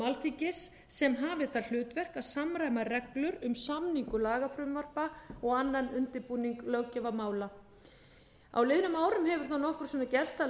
alþingis sem hafi það hlutverk að samræma reglur um samningu lagafrumvarpa og annan undirbúning löggjafarmála á liðnum árum hefur það nokkrum sinnum gerst að